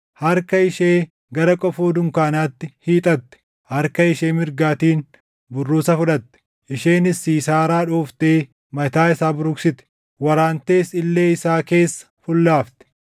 Harka ishee gara qofoo dunkaanaatti hiixatte; harka ishee mirgaatiin burruusa fudhatte; isheenis Siisaaraa dhooftee mataa isaa buruqsite; waraantees illee isaa keessa fullaafte.